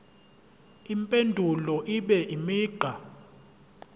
impendulo ibe imigqa